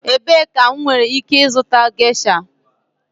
Ebee ka m nwere ike ịzụta gesha?